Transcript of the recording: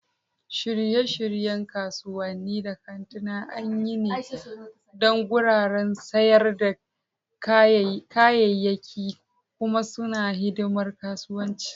Shirye-shiryen kasuwanni da kantuna an yi niyya ne don wuraren sayar da kayayyaki, kuma suna hidimar kasuwanci.